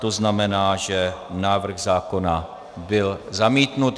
To znamená, že návrh zákona byl zamítnut.